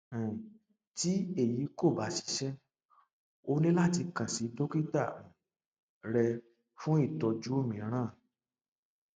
um tí èyí kò bá ṣiṣẹ o ní láti kàn sí dókítà um rẹ fún ìtọjú mìíràn um